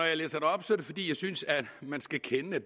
jeg læser det op er det fordi jeg synes man skal kende det